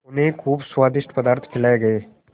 उन्हें खूब स्वादिष्ट पदार्थ खिलाये गये